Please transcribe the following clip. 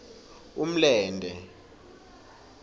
umlente